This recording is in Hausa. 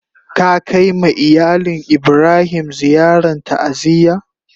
Ka kai ma iyalin Ibrahim ziyaran ta'aziyya?